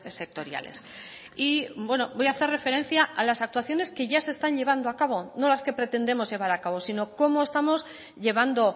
sectoriales y voy a hacer referencia a las actuaciones que ya se están llevando a cabo no las que pretendemos llevar a cabo sino cómo estamos llevando